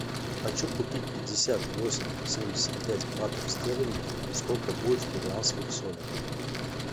хочу купить пятьдесят восемь семьдесят пять батов стерлингов сколько будет в перуанских солях